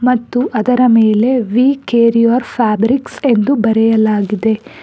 ಮತ್ತು ಅದರ ಮೇಲೆ ವೀ ಕೇರ್ ಯುವರ್ ಫ್ಯಾಬ್ರಿಕ್ ಎಂದು ಬರೆಯಲಾಗಿದೆ.